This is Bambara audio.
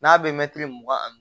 N'a bɛ mɛtiri mugan ani